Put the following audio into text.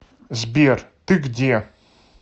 сбер ты где